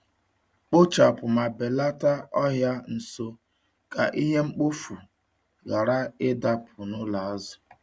Kpochapụ ma belata ọhịa nso ka ihe mkpofu ghara ịdapụ n’ụlọ azụ.